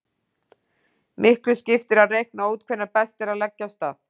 Miklu skiptir að reikna út hvenær best er að leggja af stað.